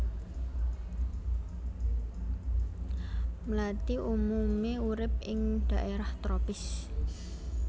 Mlathi umumé urip ing dhaérah tropis